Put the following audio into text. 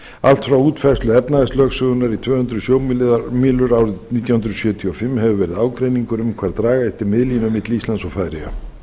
allt frá útfærslu efnahagslögsögunnar í tvö hundruð sjómílur árið nítján hundruð sjötíu og fimm hefur verið ágreiningur um hvar draga ætti miðlínu milli íslands og færeyja